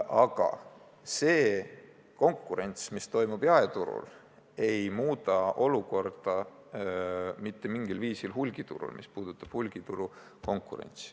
Aga see konkurents, mis on olemas jaeturul, ei muuda mitte mingil viisil olukorda hulgiturul, sealset konkurentsi.